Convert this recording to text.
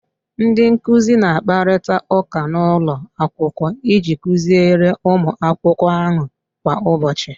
Ndị nkuzi na-akparịta ụka n'ụlọ akwụkwọ iji kuziere ụmụ akwụkwọ ahụ kwa ụbọchị